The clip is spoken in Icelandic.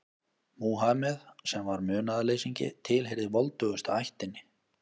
Múhameð, sem var munaðarleysingi, tilheyrði voldugustu ættinni.